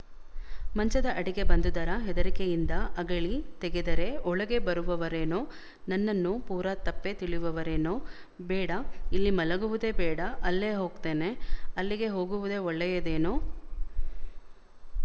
ಮಂಚದ ಅಡಿಗೆ ಬಂದುದರ ಹೆದರಿಕೆಯಿಂದ ಅಗಳಿ ತೆಗೆದರೆ ಒಳಗೇ ಬರುವರೇನೋ ನನ್ನನ್ನು ಪೂರ ತಪ್ಪೇ ತಿಳಿಯುವರೇನೊ ಬೇಡ ಇಲ್ಲಿ ಮಲಗುವದೇ ಬೇಡ ಅಲ್ಲೇ ಹೊಗ್ತೇನೆ ಅಲ್ಲಿಗೆ ಹೋಗುವದೇ ಒಳ್ಳೆಯದೇನೋ